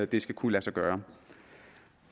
det skal kunne lade sig gøre